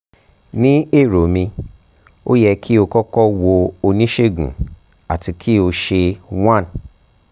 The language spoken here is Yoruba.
um ni ero mi o yẹ ki o kọkọ wo onisegun ati ki o ṣe 1 um